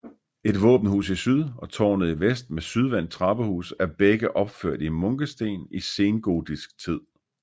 Et våbenhus i syd og tårnet i vest med sydvendt trappehus er begge opført i munkesten i sengotisk tid